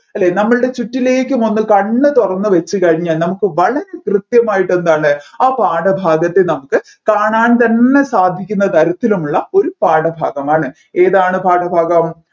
അല്ലെ നമ്മൾടെ ചുറ്റിലേക്കുമൊന്നു കണ്ണുതുറന്നു വച്ചു കഴിഞ്ഞാൽ നമ്മുക്ക് വളരെ കൃത്യമായിട്ട് എന്താണ് ആ പാഠഭാഗത്തെ നമ്മുക്ക് കാണാൻ തന്നെ സാധിക്കുന്ന തരത്തിലുമുള്ള ഒരു പാഠഭാഗമാണ് ഏതാണ് ആണ് പാഠഭാഗം